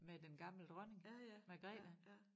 Med den gamle dronning Margrethe